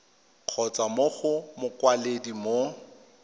kgotsa mo go mokwaledi mo